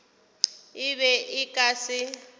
e be e ka se